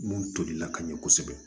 Mun tolila ka ɲɛ kosɛbɛ